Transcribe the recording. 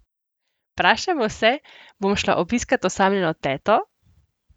Vprašajmo se, bom šla obiskat osamljeno teto?